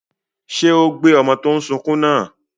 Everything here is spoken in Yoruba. Ṣé ó gbé ọmọ tó n sunkún náà?